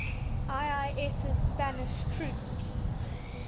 ii's spanish troops